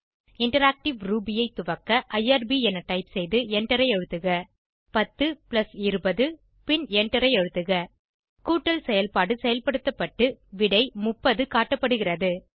interactive Ruby ஐ துவக்க IRB என டைப் செய்து எண்டரை அழுத்துக டைப் செய்க 10 பிளஸ் 20 பின் எண்டரை அழுத்துக கூட்டல் செயல்பாடு செயல்படுத்தப்பட்டு விடை 30 காட்டப்படுகிறது